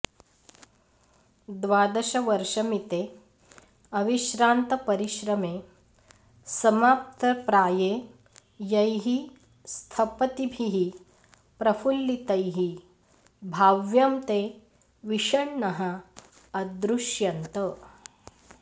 द्वादशवर्षमिते अविश्रान्तपरिश्रमे समाप्तप्राये यैः स्थपतिभिः प्रफुल्लितैः भाव्यं ते विषण्णाः अदृश्यन्त